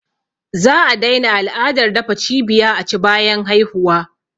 Za a daina al’adar dafa cibiya aci bayan haihuwa